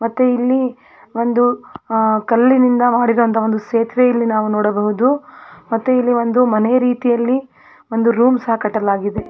ಮತ್ತು ಇಲ್ಲಿ ಒಂದು ಅಹ್ ಕಲ್ಲಿನಿಂದ ಮಾಡಿರುವಂತ ಒಂದು ಸೇತುವೆ ಇಲ್ಲಿ ನಾವು ನೋಡಬಹುದು ಮತ್ತು ಇಲ್ಲಿ ಒಂದು ಮನೆ ರೀತಿಯಲ್ಲಿ ಒಂದು ರೂಮ್ ಸಹ ಕಟ್ಟಲಾಗಿದೆ.